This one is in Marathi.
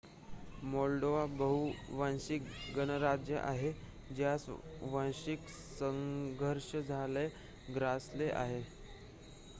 मॉल्डोवा बहु-वांशिक गणराज्य आहे ज्यास वांशिक संघर्षाने ग्रासले आहे